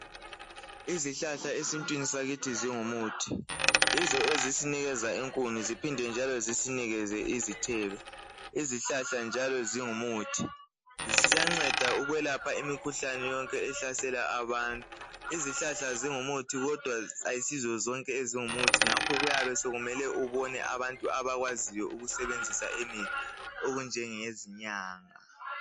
Izihlahla esintwini sakithi zingumuthi. Yizo ezisinikeza inkuni ziphinde njalo zisinikeze izithelo. Izihlahla njalo zingumuthi ziyanceda ukwelapha imikhuhlane yonke ehlasela abantu. Izihlahla zingumuthi kodwa ayisizo zonke ezingumuthi ngakho kuyabe sokumele ubone abantu abakwaziyo ukusebenzisa imithi okunjengezinyanga.